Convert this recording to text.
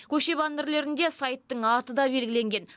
көше баннерлерінде сайттың аты да белгіленген